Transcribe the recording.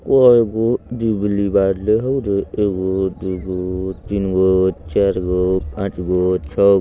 कइगो दिवली बांटे हउ रे एगो दुगो तीनगो चारगो पाँचगो छगो ।